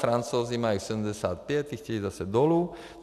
Francouzi mají 75, ti chtějí zase dolů.